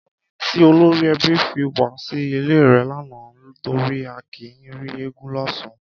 Kí lódé tí olórí ẹbí fi wá sí ilé rẹ lánàá torí a kì í rí eégún lọ́sàn-án?